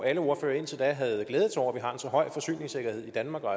alle ordførere indtil da havde glædet sig over at vi har en så høj forsyningssikkerhed i danmark og